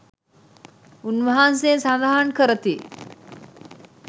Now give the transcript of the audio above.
උන්වහන්සේ සඳහන් කරති.